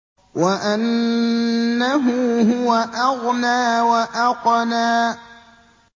وَأَنَّهُ هُوَ أَغْنَىٰ وَأَقْنَىٰ